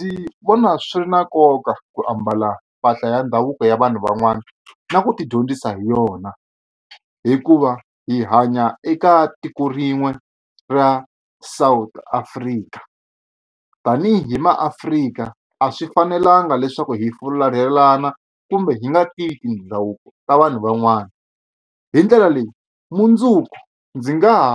Ndzi vona swi ri na nkoka ku ambala mpahla ya ndhavuko ya vanhu van'wana na ku tidyondzisa hi yona hikuva hi hanya eka tiko rin'we ra South Africa tanihi maAfrika a swi fanelanga leswaku hi fularhelana kumbe hi nga tivi ti ndhavuko ta vanhu van'wana hi ndlela leyi mundzuku ndzi nga ha